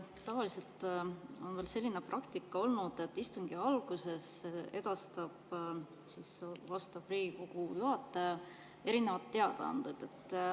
Tavaliselt on olnud selline praktika, et istungi alguses edastab Riigikogu juhataja teadaanded.